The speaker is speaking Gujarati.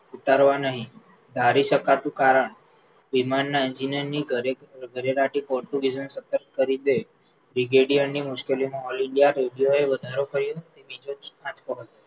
ઉતારવા નહિ ધારી શકાતું કારણ વિમાનના engineer ની ઘરેરાડતી પોર્ટુગીઝોને સતર્ક કરી દે brigadier મુશ્કેલીઓ નું all ઇન્ડિયા એ વધારો કર્યો બીજોજ આંચકો હતો